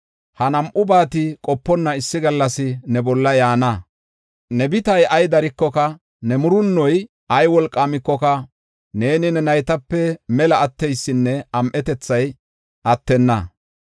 Ha nam7ubati qoponna issi gallas ne bolla yaana. Ne bitay ay darikoka, ne murunnoy ay wolqaamikoka neeni ne naytape mela atteysinne am7etethay attenna.